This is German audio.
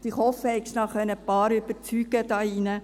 Ich hoffe, Sie konnten noch einige hier überzeugen.